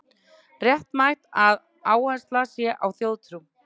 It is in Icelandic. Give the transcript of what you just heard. Réttmætt að áhersla sé á þjóðtrú